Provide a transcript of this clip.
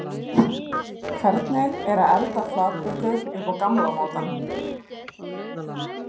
Hvernig er að elda flatböku upp á gamla mátann?